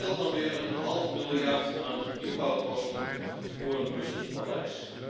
Dat scheelt dan weer een half miljard aan nieuwbouwkosten voor een Brussels paleis.